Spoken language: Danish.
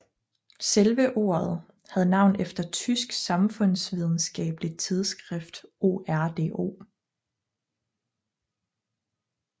Selve ordet havde navn efter et tysk samfundsvidenskabeligt tidsskrift ORDO